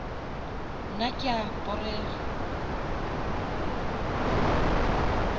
nna ke a porega